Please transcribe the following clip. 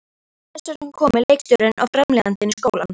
Þess vegna komu leikstjórinn og framleiðandinn í skólann.